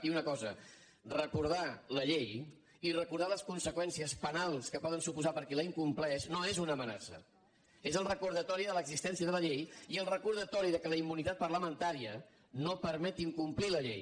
i una cosa recordar la llei i recordar les conseqüències penals que pot suposar per a qui la incompleix no és una amenaça és el recordatori de l’existència de la llei i el recordatori que la immunitat parlamentària no permet incomplir la llei